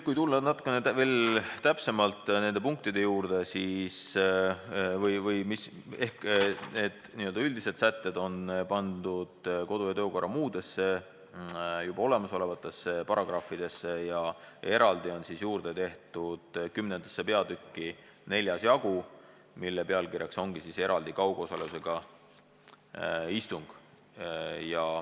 Kui tulla natukene täpsemalt nende punktide juurde, siis need n-ö üldised sätted on pandud kodu- ja töökorra seaduse juba olemasolevatesse paragrahvidesse ja eraldi on juurde tehtud 10. peatüki 4. jagu, mille pealkiri on "Kaugosalusega istung".